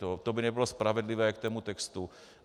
To by nebylo spravedlivé k tomu textu.